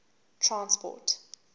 transport